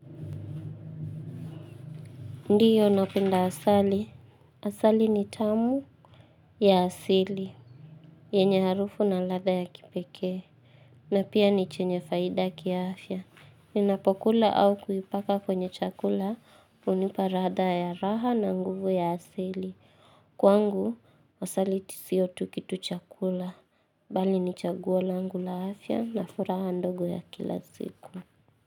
Ndiyo napenda asali. Asali ni tamu ya asili. Yenye harufu na latha ya kipekee. Na pia ni chenye faida kiafya. Ninapokula au kuipaka kwenye chakula hunipa ratha ya raha na nguvu ya asili. Kwangu, asali tu siyo tu kitu chakula. Bali ni chaguo langu la afya na furaha ndogo ya kila siku.